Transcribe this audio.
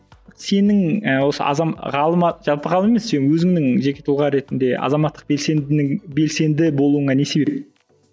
сенің ііі осы ғалым ы жалпы ғалым емес сен өзіңнің жеке тұлға ретінде азаматтық белсендінің белсенді болуыңа не себеп